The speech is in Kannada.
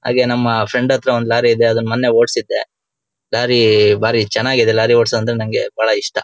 ಹಾಗೆ ನಮ್ ಫ್ರೆಂಡ್ ಹತ್ರ ಒಂದ್ ಲಾರಿ ಇದೆ ಅದನ್ನ ಮೊನ್ನೆ ಓಡ್ಸಿದ್ದೆ. ಬಾರಿ ಬಾರಿ ಚೆನ್ನಾಗಿ ಇದೆ ಲಾರಿ ಓಡ್ಸೋದು ಅಂದ್ರೆ ನಂಗೆ ಬಾರಿ ಇಷ್ಟ.